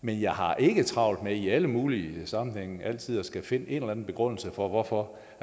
men jeg har ikke travlt med i alle mulige sammenhænge altid at skulle finde en eller anden begrundelse for hvorfor